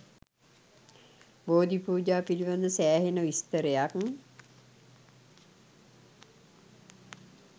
බෝධි පූජා පිළිබද සෑහෙන විස්තරයක්